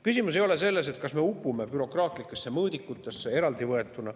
Küsimus ei ole selles, eraldi võetuna, kas me upume bürokraatlikesse mõõdikutesse.